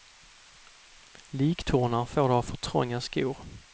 Liktornar får du av för trånga skor.